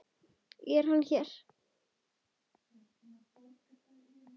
Er hann hér?